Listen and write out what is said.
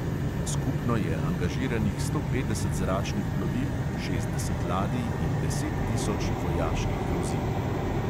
Skupno je angažiranih sto petdeset zračnih plovil, šestdeset ladij in deset tisoč vojaških vozil.